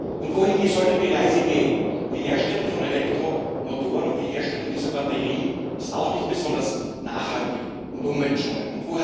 Und wohin soll denn die Reise gehen? Die Herstellung von Elektromotoren und die Herstellung dieser Batterien ist auch nicht besonders nachhaltig und umweltschonend.